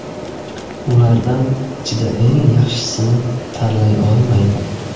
Ulardan ichida eng yaxshisini tanlay olmayman.